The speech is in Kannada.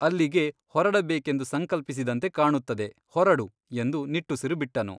ಅಲ್ಲಿಗೆ ಹೊರಡಬೇಕೆಂದು ಸಂಕಲ್ಪಿಸಿದಂತೆ ಕಾಣುತ್ತದೆ ಹೊರಡು ಎಂದು ನಿಟ್ಟುಸಿರು ಬಿಟ್ಟನು.